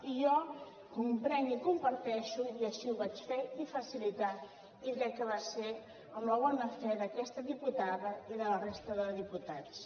i jo ho comprenc i ho comparteixo i així ho vaig fer i facilitar i crec que va ser amb la bona fe d’aquesta diputada i de la resta de diputats